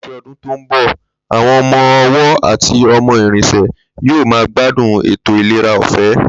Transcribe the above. Láti o̩dún tó ń bò̩, àwo̩n o̩mo̩ owó àti o̩mo̩ ìrìnsè̩ yóò máa gbádùn ètò ìlera ò̩fé̩